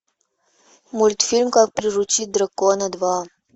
мультфильм как приручить дракона два